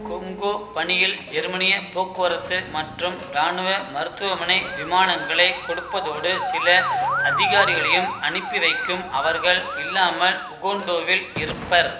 Congo பணியில் ஜெர்மனிய போக்குவரத்து மற்றும் இராணுவ மருத்துவமனை விமானங்களைக் கொடுப்பதோடு சில அதிகாரிகளையும் அனுப்பிவைக்கும் அவர்கள் இல்லாமல் உகோண்டோவில் இருப்பர்